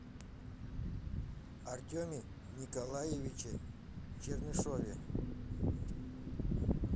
артеме николаевиче чернышове